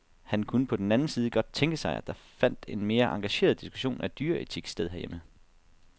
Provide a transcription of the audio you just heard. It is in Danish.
Han kunne på den anden side godt tænke sig, at der fandt en mere engageret diskussion af dyreetik sted herhjemme.